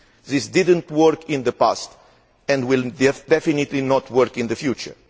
This did not work in the past, and will definitely not work in the future.